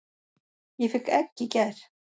Ég fékk egg í gær.